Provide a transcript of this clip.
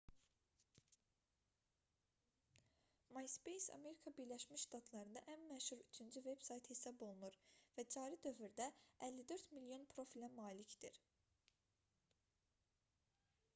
myspace amerika birləşmiş ştatlarında ən məşhur üçüncü veb-sayt hesab olunur və cari dövrdə 54 milyon profilə malikdir